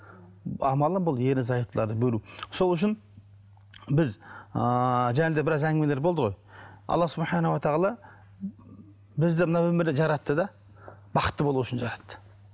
амалы бұл ерлі зайыптыларды бөлу сол үшін біз ыыы жаңа да біраз әңгімелер болды ғой аллах бізді мына өмірде жаратты да бақытты болу үшін жаратты